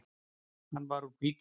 Hann var úr hvítum marmara.